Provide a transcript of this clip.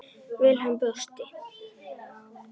Vilhelm brosti.